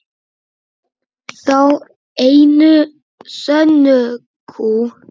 Þá einu sönnu kú.